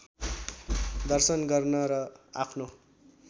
दर्शन गर्न र आफ्नो